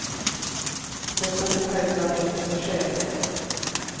Detta ska självklart inte få ske, säger han.